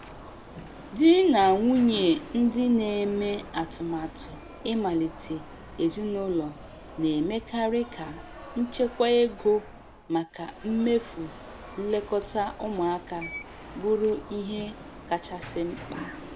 Di na nwunye ndị na-eme atụmatụ ịmalite ezinụlọ na-emekarị ka ichekwa ego maka mmefu nlekọta ụmụaka bụrụ ihe kachasị mkpa.